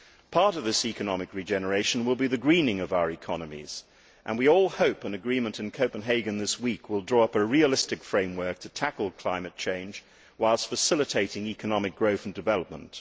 Part of this economic regeneration will be the greening of our economies, and we all hope that an agreement in Copenhagen this week will draw up a realistic framework to tackle climate change whilst facilitating economic growth and development.